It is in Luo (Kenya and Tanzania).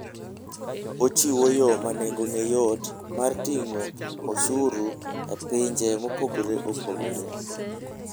Ochiwo yo ma nengone yot mar ting'o osuru e pinje mopogore opogore.